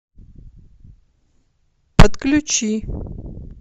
подключи